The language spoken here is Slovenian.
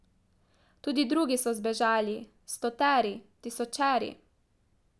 Tudi drugi so zbežali, stoteri, tisočeri.